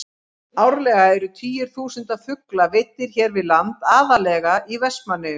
Árlega eru tugir þúsunda fugla veiddir hér við land, aðallega í Vestmannaeyjum.